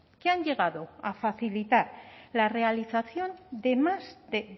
que han llegado a facilitar la realización de más de